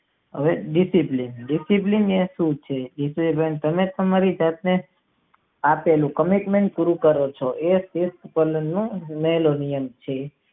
હવે ડિસિપ્લિન તે કેટલું છે જે તમારી પ્રાર્થના માટે આપેલું કનેકશન પૂરું કરે છે એ સારો નિયમ છે.